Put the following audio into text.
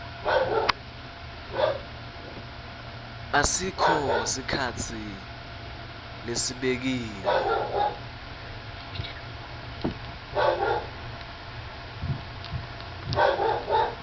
asikho sikhatsi lesibekiwe